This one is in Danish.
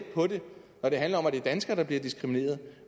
på det når det handler om at det er danskere der bliver diskrimineret